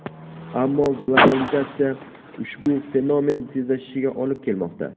Ammo globalizatsiya ushbu fenomen tezlashishiga olib kelmoqda.